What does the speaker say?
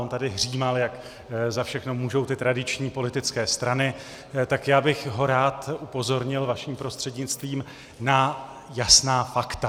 On tady hřímal, jak za všechno můžou ty tradiční politické strany, tak já bych ho rád upozornil vaším prostřednictvím na jasná fakta.